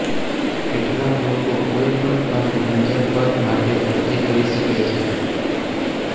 કેટલાંક લોકો કોઈ પણ પાર્ક રેન્જર પદ માટે અરજી કરી શકે છે